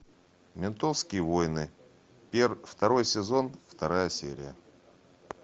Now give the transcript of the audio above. ментовские войны второй сезон вторая серия